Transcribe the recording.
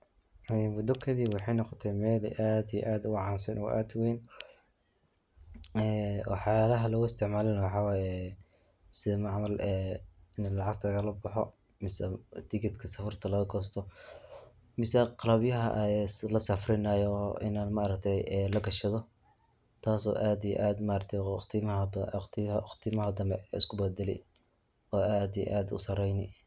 Ee muddo kadib waxay noqotay mel aad iyo aad u caansan oo aad u wayn. Ee waxyalaha lagu isticmaalana waxaa waye ee sidi camal ee mel lacagta lagala baxo mise tigitka safarta lagagosto mise qalabyaha lasafrinaya ma aragte ee lagashado. Taas oo aad iyo aad ma aragte waqtimaha kale isku badali oo aad iyo aad u sarayni.